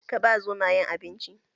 Ka ba Zomayen abinci?